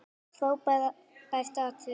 Frábært atriði.